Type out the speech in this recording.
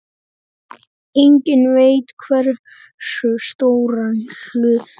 Enginn veit hversu stóran hluta.